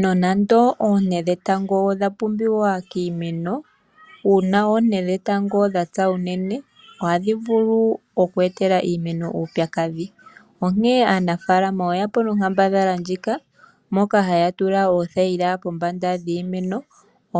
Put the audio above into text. Nonando oonte dhetango odha pumbiwa kiimeno uuna oonte dhetango dha pya unene ohadhi vulu oku etela iimeno uupyakadhi. Onkene aanafaalama oyeya po nonkambadhala ndjika moka haya tula oothayila pombanda dhiimeno